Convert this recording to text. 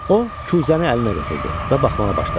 O kuzəni əlinə götürdü və baxmağa başladı.